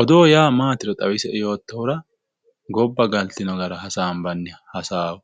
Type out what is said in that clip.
odoo yaa maatiro xawisi"e yootohura gobba galtino gara hasaanbbanni hasaawo